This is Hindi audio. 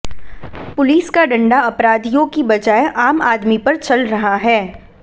पुलिस का डंडा अपराधियों की बजाय आम आदमी पर चल रहा है